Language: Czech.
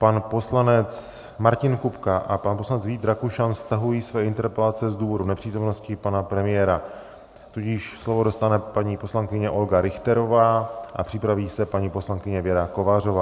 Pan poslanec Martin Kupka a pan poslanec Vít Rakušan stahují své interpelace z důvodu nepřítomnosti pana premiéra, tudíž slovo dostane paní poslankyně Olga Richterová a připraví se paní poslankyně Věra Kovářová.